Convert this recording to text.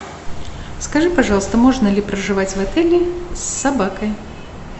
скажи пожалуйста можно ли проживать в отеле с собакой